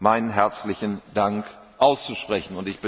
meinen herzlichen Dank auszusprechen.